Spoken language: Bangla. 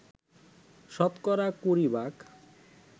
শতকরা কুড়ি ভাগ